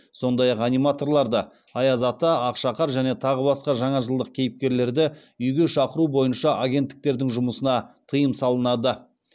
сондай ақ аниматорларды үйге шақыру бойынша агенттіктердің жұмысына тыйым салынады